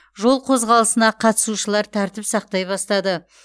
жол қозғалысына қатысушылар тәртіп сақтай бастады